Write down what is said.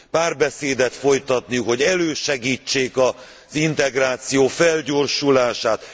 párbeszédet folytatni, hogy elősegítsék az integráció felgyorsulását.